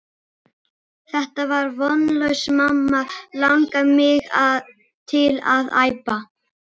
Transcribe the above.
Þetta er vonlaust mamma langar mig til að æpa.